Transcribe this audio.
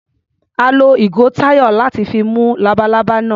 A lo ìgò Táyọ̀ láti fi mú labalábá náà.